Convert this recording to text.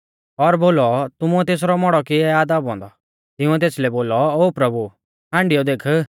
और बोलौ तुमुऐ तेसरौ मौड़ौ किऐ आ दाबौ औन्दौ तिंउऐ तेसलै बोलौ ओ प्रभु हाण्डियौ देख